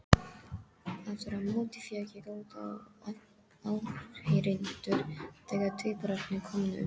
Aftur á móti fékk ég góða áheyrendur þegar tvíburarnir komu.